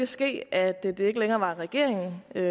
ske at det ikke længere var regeringen men